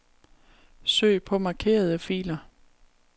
Søg på markerede filer.